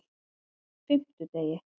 fimmtudegi